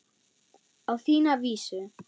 Á þína vísu.